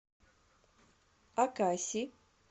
акаси